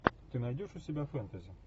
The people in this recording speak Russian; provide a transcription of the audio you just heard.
ты найдешь у себя фэнтези